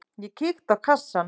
Ég kíkti á kassann.